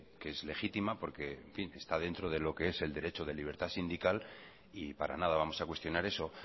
que es legítima porque está dentro de lo que es el derecho de libertad sindical y para nada vamos a cuestionar eso